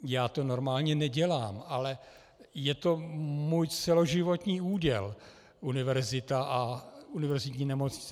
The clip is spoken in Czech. Já to normálně nedělám, ale je to můj celoživotní úděl, univerzita a univerzitní nemocnice.